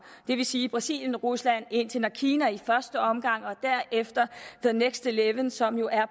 det vil sige brasilien rusland indien og kina i første omgang og derefter the next eleven som jo